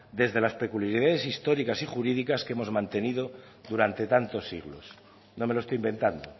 desde las peculiaridades históricas y jurídicas que hemos mantenido durante tantos siglos no me lo estoy inventando